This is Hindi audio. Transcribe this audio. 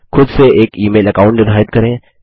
खुद से एक ई मेल अकाउंट निर्धारित करें